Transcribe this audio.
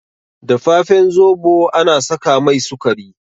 Dafafen zobo ana saka mai sukari